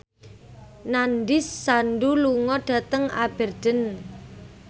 Nandish Sandhu lunga dhateng Aberdeen